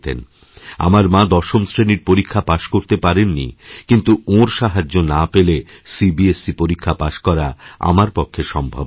আমার মা দশম শ্রেণির পরীক্ষাপাশ করতে পারেন নি কিন্তু ওঁর সাহায্য না পেলে সিবিএসই র পরীক্ষা পাশ করা আমার পক্ষে সম্ভবহত না